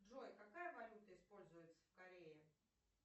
джой какая валюта используется в корее